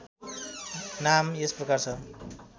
नाम यस प्रकार छ